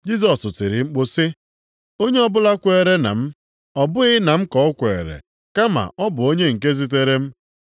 Jisọs tiri mkpu sị, “Onye ọbụla kwere na m, ọ bụghị na m ka o kwere, kama ọ bụ na onye nke zitere m.